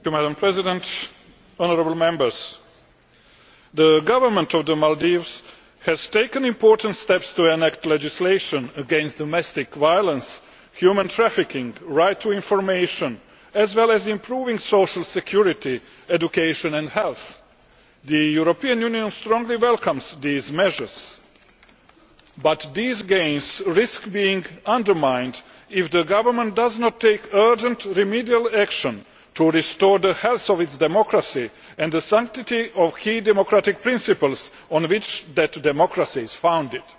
Madam President, the Government of the Maldives has taken important steps to enact legislation against domestic violence, human trafficking, the right to information, as well as improving social security, education and health. The European Union strongly welcomes these measures. But these gains risk being undermined if the government does not take urgent remedial action to restore the health of its democracy and the sanctity of key democratic principles on which that democracy is founded.